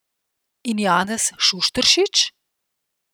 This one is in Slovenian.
In Janez Šušteršič?